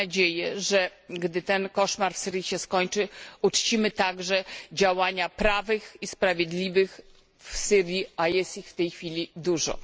Mam nadzieję, że gdy ten koszmar w Syrii się skończy, uczcimy także działania prawych i sprawiedliwych w Syrii, a jest ich w tej chwili dużo.